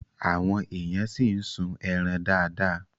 Àwọn èèyàn ṣì ń sun ẹran dáadáa